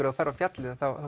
ef þú ferð á fjallið